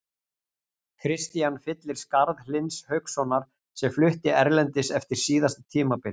Kristian fyllir skarð Hlyns Haukssonar sem flutti erlendis eftir síðasta tímabil.